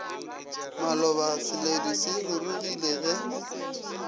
maloba seledu se rurugile ge